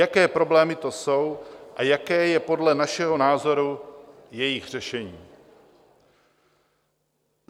Jaké problémy to jsou a jaké je podle našeho názoru jejich řešení?